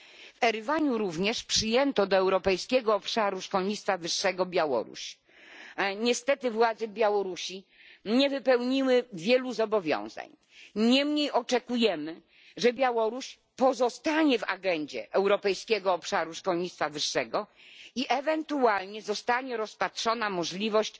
W Erywaniu również przyjęto do Europejskiego Obszaru Szkolnictwa Wyższego Białoruś, ale niestety władze Białorusi nie wypełniły wielu zobowiązań, niemniej oczekujemy, że Białoruś pozostanie w agendzie europejskiego obszaru szkolnictwa wyższego i ewentualnie zostanie rozpatrzona możliwość